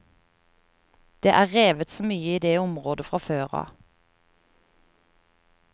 Det er revet så mye i det området fra før av.